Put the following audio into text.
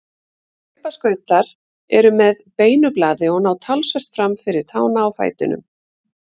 Hlaupaskautar eru með beinu blaði og ná talsvert fram fyrir tána á fætinum.